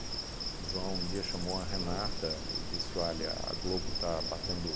O João um dia chamou a Renata e disse, olha, a Globo está batendo.